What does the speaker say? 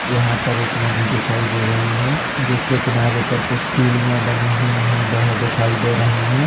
यहां पर एक नदी दिखाई दे रही है जिसके किनारे पर कुछ सीढ़ियां बनी हुई है वह दिखाई दे रही है।